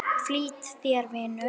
Flýt þér, vinur!